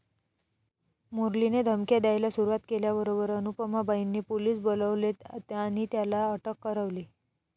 मुरलीने धमक्या द्यायाला सुरूवात केल्याबरोबर अनुपमाबाईंनी पोलीस बोलवले आणि त्याला अटक करवली.